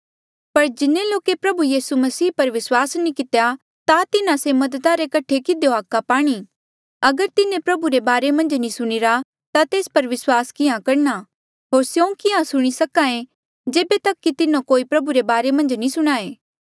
पर जिन्हें लोके प्रभु यीसू मसीह पर विस्वास नी कितेया ता तिन्हा से मददा रे कठे किधियो हाका पाणी अगर तिन्हें प्रभु रे बारे मन्झ नी सुणिरा ता तेस पर विस्वास किहाँ करणा होर स्यों किहाँ सुणी सके जेबे तक कि तिन्हो कोई प्रभु रे बारे मन्झ नी सुणाये